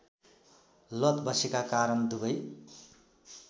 लत बसेका कारण दुबै